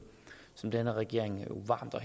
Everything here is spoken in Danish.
som denne regering varmt og